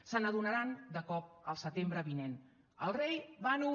se n’adonaran de cop el setembre vinent el rei va nu